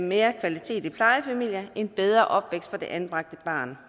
mere kvalitet i plejefamilier og en bedre opvækst for det anbragte barn